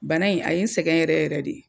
Bana in a ye n sɛgɛn yɛrɛ yɛrɛ de